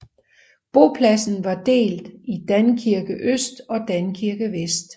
Bopladsen var delt i Dankirke Øst og Dankirke Vest